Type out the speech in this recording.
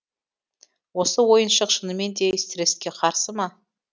осы ойыншық шынымен де стресске қарсы ма